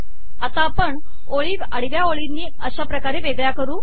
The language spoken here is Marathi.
आता आपण ओळी आडव्या ओळींनी अशा प्रकारे वेगळ्या करु